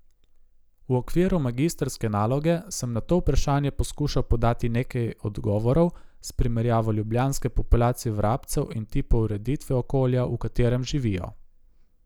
V okviru magistrske naloge sem na to vprašanje poskušal podati nekaj odgovorov s primerjavo ljubljanske populacije vrabcev in tipov ureditve okolja, v katerem živijo.